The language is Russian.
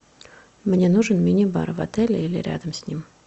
мне нужен мини бар в отеле или рядом с ним